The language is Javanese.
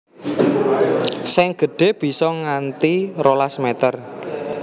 Sing gedhe bisa nganti rolas meter